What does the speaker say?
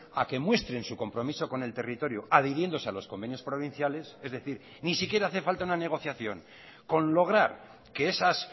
a que muestren su compromiso con el territorio adhiriéndose a los convenios provinciales es decir ni siquiera hace falta una negociación con lograr que esas